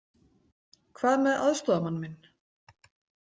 Hvað með aðstoðarmann minn?